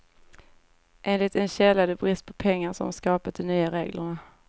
Enligt en källa är det brist på pengar som skapat de nya reglerna.